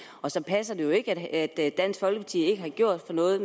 og så passer det jo ikke at dansk folkeparti ikke har gjort noget